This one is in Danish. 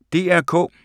DR K